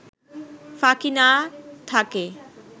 ফাঁকি না থাকে